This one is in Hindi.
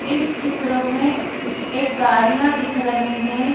इस चित्र में एक गाड़ियां दिख रही हैं।